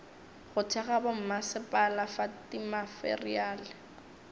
go thekga bommasepala fa dimateriale